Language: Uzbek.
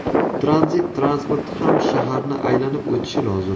Tranzit transporti ham shaharni aylanib o‘tishi lozim.